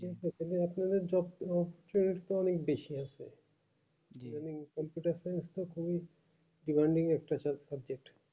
তবে offline যে job এ option টা অনেক বেশি আছে মানে computer science টা খুবই worning একটা subject